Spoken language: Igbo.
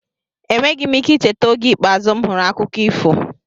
Enweghị m ike icheta oge ikpeazụ m hụrụ akụkọ ifo.